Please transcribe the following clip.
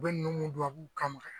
U bɛ ninnu mun dun tubabuw kama